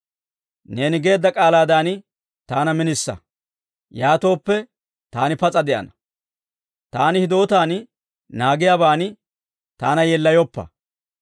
Neeni geedda k'aalaadan taana minisa; yaatooppe, taani pas'a de'ana. Taani hidootan naagiyaaban taana yeellayoppa.